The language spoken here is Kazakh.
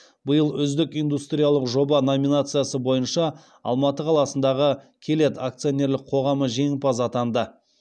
биыл үздік индустриялық жоба номинациясы бойынша алматы қаласындағы келет акционерлік қоғамы жеңімпаз атанды